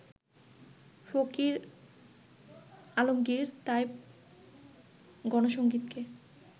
ফকির আলমগির তাই গণসংগীতকে